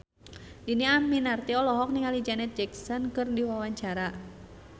Dhini Aminarti olohok ningali Janet Jackson keur diwawancara